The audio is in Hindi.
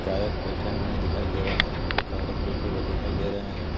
गायक बैठे हुए दिखाई दे रहे हैं कुछ औरत बैठे हुए दिखाई दे रहे हैं.